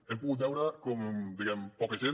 hem pogut veure com diguem ne poca gent